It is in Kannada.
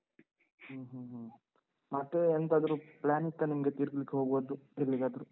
ಹ್ಮ ಹ್ಮ ಹ್ಮ ಮತ್ತೇ ಎಂತಾದ್ರೂ plan ಇತ್ತಾ ನಿಮ್ದು ತಿರ್ಗ್ಲಿಕ್ ಹೋಗೋದು, ಎಲ್ಲಿಗಾದ್ರೂ?